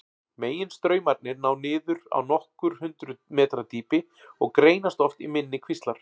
Meginstraumarnir ná niður á nokkur hundruð metra dýpi og greinast oft í minni kvíslar.